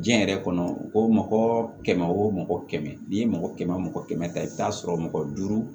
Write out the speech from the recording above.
Diɲɛ yɛrɛ kɔnɔ ko mɔgɔ kɛmɛ wo mɔgɔ kɛmɛ n'i ye mɔgɔ kɛmɛ o mɔgɔ kɛmɛ ta i bɛ taa sɔrɔ mɔgɔ duuru